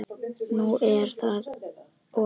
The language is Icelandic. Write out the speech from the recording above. Nú er það of seint.